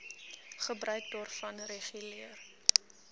gebruik daarvan reguleer